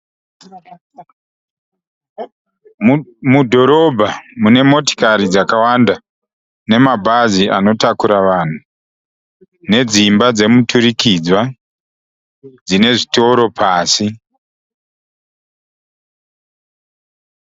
Mudhorobha munemotikari dzakawanda nemabhazi anotakura vanhu nedzimba dzemuturikidzwa dzinezvitoro pasi.